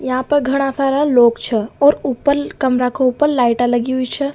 यहाँ पे घणा सारा लोग छ और ऊपर कमरा का ऊपर लाइटा लगी हुई छ।